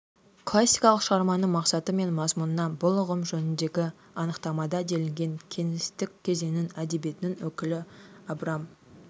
классикалық шығарманың мақсаты мен мазмұнына бұл ұғым жөніндегі анықтамада делінген кеңестік кезеңнің әдебиетінің өкілі абрам